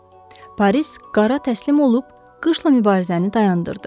Paris qara təslim olub qışla mübarizəni dayandırdı.